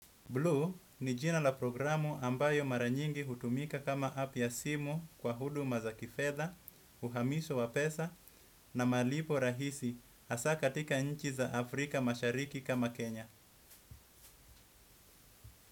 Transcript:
Bluu ni jina la programu ambayo mara nyingi hutumika kama app ya simu kwa huduma za kifedha, uhamiso wa pesa na malipo rahisi hasa katika nchi za Afrika mashariki kama Kenya.